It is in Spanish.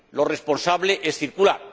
Lo responsable es circular.